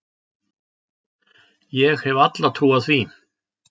Ég hef alla trú á því.